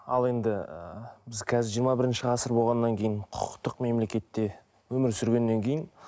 ал енді біз қазір жиырма бірінші ғасыр болғаннан кейін құқықтық мемлекетте өмір сүргеннен кейін